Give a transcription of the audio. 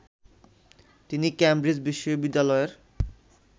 তিনি কেমব্রিজ বিশ্ববিদ্যালয়ের